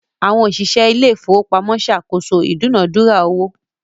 Àwọn òṣìṣẹ́ ilé ìfowópamọ́ ń ṣe àkóso ìdúnàádúrà owó